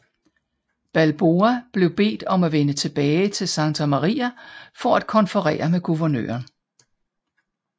Balboa blev bedt om at vende tilbage til Santa Maria for at konferere med guvernøren